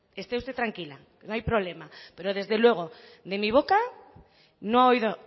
esté usted tranquila no hay problema pero desde luego de mi boca no ha oído